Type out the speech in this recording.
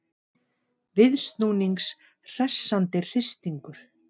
Viðsnúnings hressandi hristingur